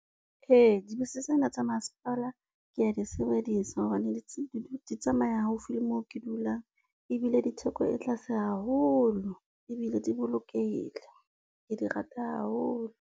Ee dibese tsena tsa masepala kea di sebedisa hobane di tsamaya haufi le moo ke dulang, ebile di theko e tlase haholo ebile di bolokehile, ke di rata haholo.